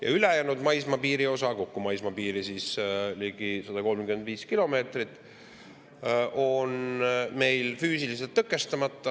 Ja ülejäänud maismaapiiri osa – kokku on maismaapiiri ligi 135 kilomeetrit – on meil füüsiliselt tõkestamata.